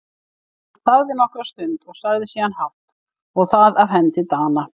Hann þagði nokkra stund og sagði síðan hátt:-Og það af hendi Dana!